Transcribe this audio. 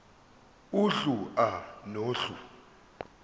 uhlu a nohlu